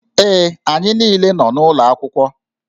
Ee, anyị niile nọ n'ụlọ akwụkwọ